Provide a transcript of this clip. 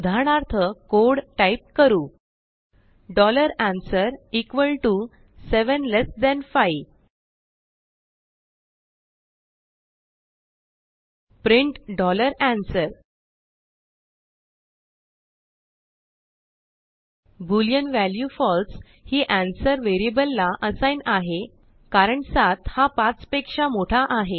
उदाहरणार्थ code type करू answer 75 print answer boolean value falseहिanswerवेरिअबललाअसाइग्न आहे कारण 7 हा 5 पेक्षा मोठा आहे